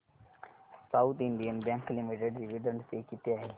south Indian Bank Limited dividend pay किती आहे